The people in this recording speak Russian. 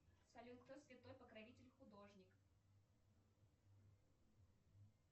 салют кто святой покровитель художник